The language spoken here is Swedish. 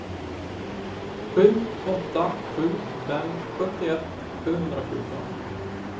sju åtta sju fem sjuttioett sjuhundrafjorton